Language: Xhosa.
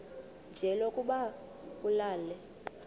nje lokuba ulale